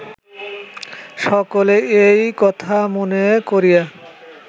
সকলে এই কথা মনে করিয়া